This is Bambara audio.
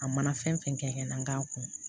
A mana fɛn fɛn kɛ n'a kun